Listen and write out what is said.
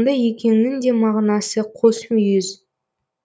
онда екеуінің де мағынасы қос мүйіз